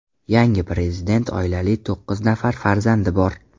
Yangi prezident oilali, to‘qqiz nafar farzandi bor.